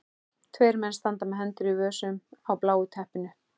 Tveir menn standa með hendur í vösum á bláu teppinu.